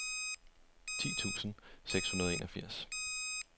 ti tusind seks hundrede og enogfirs